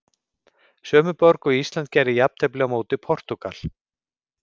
Sömu borg og Ísland gerði jafntefli á móti Portúgal.